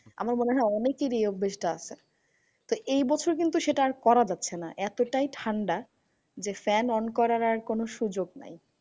আমার মনে হয় অনেকেরই এই অভ্যাস টা আছে। তো এই বছর কিন্তু সেটা আর করা যাচ্ছে না। এতটাই ঠান্ডা যে, fan on করার আর কোনো সুযোগ নাই।